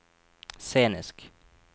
scenisk